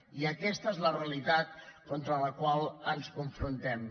i aquesta és la realitat amb la qual ens confrontem